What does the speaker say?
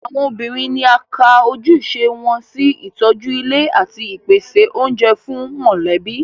Àwọn obìnrin ni a ka ojúṣe wọn sí ìtọ́jú ilé àti ìpèsè oúnjẹ fún mọ̀lẹ́bí